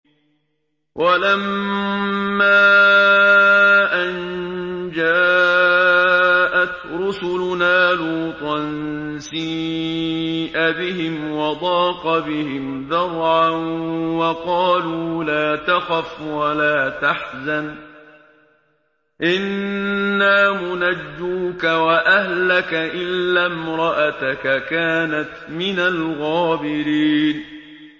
وَلَمَّا أَن جَاءَتْ رُسُلُنَا لُوطًا سِيءَ بِهِمْ وَضَاقَ بِهِمْ ذَرْعًا وَقَالُوا لَا تَخَفْ وَلَا تَحْزَنْ ۖ إِنَّا مُنَجُّوكَ وَأَهْلَكَ إِلَّا امْرَأَتَكَ كَانَتْ مِنَ الْغَابِرِينَ